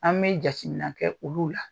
An bɛ jate minɛ kɛ olu la.